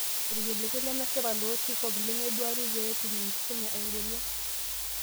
Irkiliku lemesipa lotii CoP lemeeduari peetum enkisuma engolon.